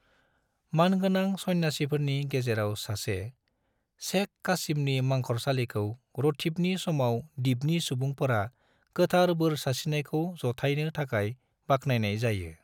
मानगोनां सन्यासिफोरनि गेजेराव सासे, शेख कासिमनि मंखरसालिखौ रथीबनि समाव दिपनि सुबुंफोरा गोथार बोर सारस्रिनायखौ जाथायनो थाखाय बाखनायनाय जायो।